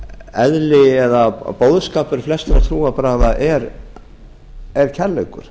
eðli og boðskapur flestra trúarbragða er kærleikur